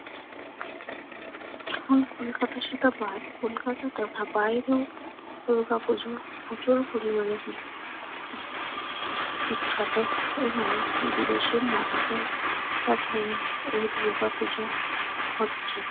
এখন কলকাতার সাথে বা কলকাতা তথা বাইরেও দুর্গাপূজো প্রচুর পরিমানে বিখ্যাত এবং বিদেশের মাটিতেও এখন এই দুর্গাপুজো হচ্ছে